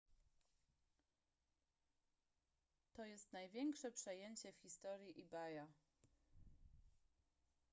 to jest największe przejęcie w historii ebaya